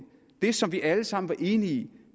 det som vi alle sammen var enige